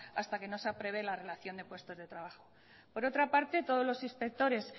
hasta que no se aprueba la relación de puestos de trabajo por otra parte todos los inspectores